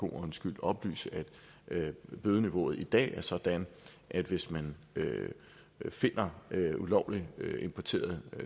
en ordens skyld oplyse at bødeniveauet i dag er sådan at hvis man finder ulovligt importeret